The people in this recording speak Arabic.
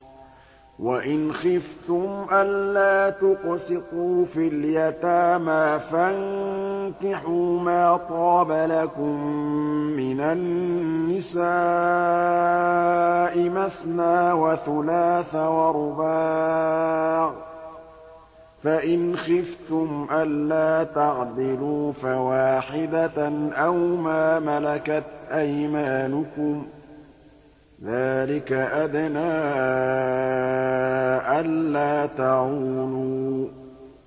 وَإِنْ خِفْتُمْ أَلَّا تُقْسِطُوا فِي الْيَتَامَىٰ فَانكِحُوا مَا طَابَ لَكُم مِّنَ النِّسَاءِ مَثْنَىٰ وَثُلَاثَ وَرُبَاعَ ۖ فَإِنْ خِفْتُمْ أَلَّا تَعْدِلُوا فَوَاحِدَةً أَوْ مَا مَلَكَتْ أَيْمَانُكُمْ ۚ ذَٰلِكَ أَدْنَىٰ أَلَّا تَعُولُوا